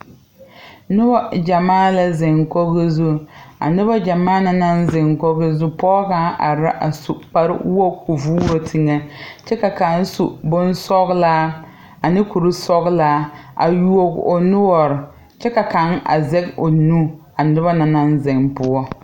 Nobɔ gyamaa la zeŋ koge zu a nobɔ gyamaa na naŋ zeŋ koge zu pɔɔ kaŋ are ra a su kparewoge koo vuuro teŋɛ kyɛ ka kaŋ su bonsɔglaa ane kurisɔglaa a yuo o noɔre kyɛ ka kaŋ a zɛge o nu a nobɔ na naŋ zeŋ poɔ.